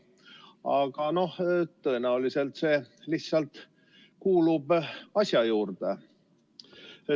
Aga tõenäoliselt kuulub see lihtsalt asja juurde.